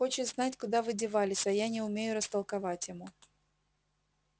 хочет знать куда вы девались а я не умею растолковать ему